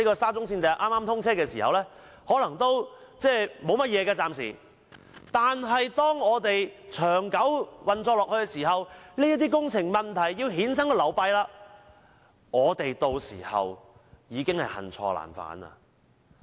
沙中線通車初期可能不會有問題，但長久運作下去，有關的工程問題便會衍生流弊，屆時我們將恨錯難返。